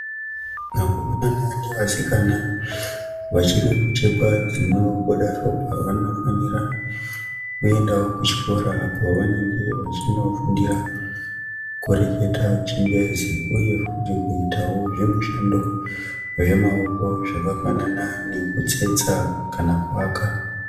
Vakomana nevasikana vachiri kuchekwa dzinobuda ropa vanofanira kuendawo kuchikora apo vanenge vachinofundira kureketawo chingezi uye futi kuitawo zvimushando zvemaoko zvakafanana nekutsetsa kana kuwaka.